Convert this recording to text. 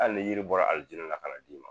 Al ni yiri bɔra aljinɛ la kan'a d'i ma